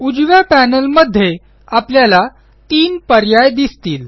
उजव्या पॅनेलमध्ये आपल्याला तीन पर्याय दिसतील